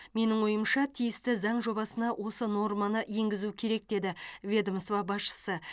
менің ойымша тиісті заң жобасына осы норманы енгізу керек деді ведомство басшысы